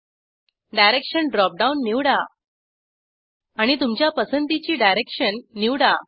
direction dropdown निवडा आणि तुमच्या पसंतीची डायरेक्शन निवडा